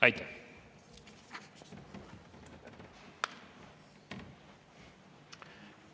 Aitäh!